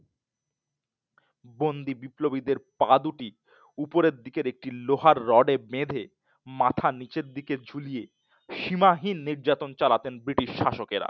বন্দী বিপ্লবীদের পা দুটি উপরের দিকের একটি লোহার রডে বেঁধে মাথা নিচের দিকে ঝুলিয়ে সীমাহীন অত্যাচার চালাতেন British শাসকেরা